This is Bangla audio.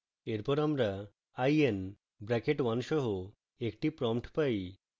এরপর আমরা i n bracket 1 সহ একটি prompt পাই